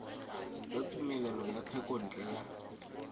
tsa tumelelo ya thekontle ya